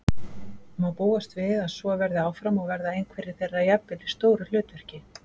Má búast við að svo verði áfram og verða einhverjir þeirra jafnvel í stóru hlutverki?